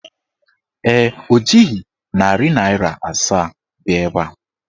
Ee, o jighị narị naịra asaa bịa ebe a.